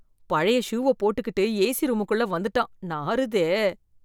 பழைய ஷூவ போட்டுக்கிட்டு ஏசி ரூமுக்குள்ள வந்துட்டான், நாறுதே.